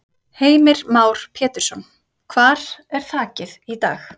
Heimir Már Pétursson: Hvar er þakið í dag?